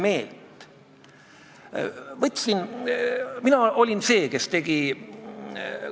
Ma sain aru, et komisjon oli ühel meelel selles, et seadusrikkumist tuleb sanktsioneerida ja et tõepoolest need praegused sanktsioonid on ebapiisavad.